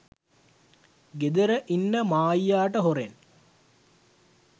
ගෙදර ඉන්න මායියට හොරෙන්